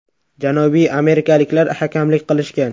Janubiy amerikaliklar hakamlik qilishgan.